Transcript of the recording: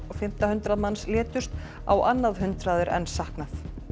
fimmta hundrað manns létust á annað hundrað er enn saknað